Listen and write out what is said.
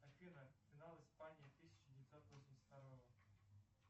афина финал испании тысяча девятьсот восемьдесят второго